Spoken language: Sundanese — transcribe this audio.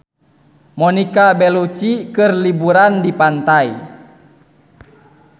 Monica Belluci keur liburan di pantai